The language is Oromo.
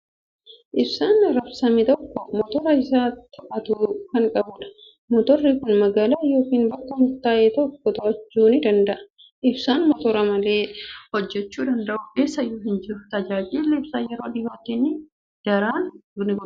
Ibsaan raabsame tokko motora isa to'atu kan qabudha. Motorri kun magaalaa yookiin bakka murtaa'e tokko to'achuu ni danda'a. Ibsaan motora malee hojjechuu danda'u eessayyuu hin jiru. Tajaajilli ibsaa yeroo dhiyootti ni daran ni guddata!